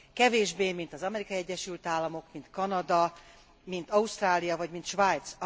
Kevésbé, mint az Amerikai Egyesült Államok, mint Kanada, mint Ausztrália vagy mint Svájc.